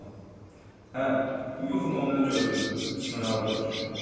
Hə, bu yuxunu onda gördüm, 3 noyabrdakı yuxumu.